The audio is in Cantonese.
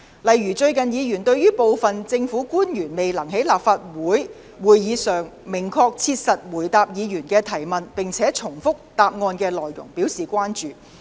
例如，議員最近對於部分政府官員未能在立法會會議上明確切實地回答議員的提問，並且重複其答覆內容表示關注。